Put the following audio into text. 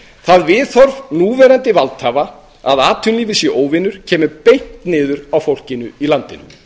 það viðhorf núverandi valdhafa að atvinnulífið sé óvinur kemur beint niður á fólkinu í landinu